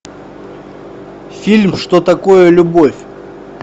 фильм что такое любовь